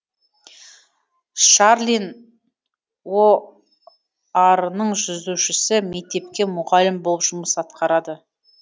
шарлин оар ның жүзушісі мектепте мұғалім болып жұмыс атқарады